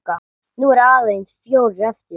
Nú eru aðeins fjórir eftir.